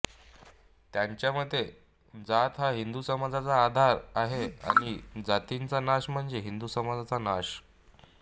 त्यांच्या मते जात हा हिंदू समाजाचा आधार आहे आणि जातीचा नाश म्हणजे हिंदू समाजाचा नाश